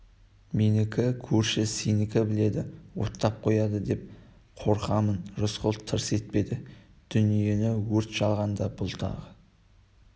менікі көрші сені біледі оттап қояды деп қорқамын рысқұл тырс етпеді дүниені өрт шалғанда бұл тағы